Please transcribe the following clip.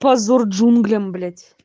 позор джунглям блять